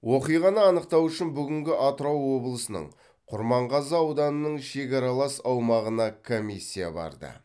оқиғаны анықтау үшін бүгінгі атырау облысының құрманғазы ауданының шекаралас аумағына комиссия барды